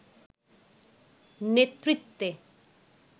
নেতৃত্বে